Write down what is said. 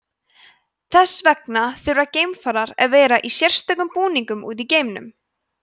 þess vegna þurfa geimfarar að vera í sérstökum búningum úti í geimnum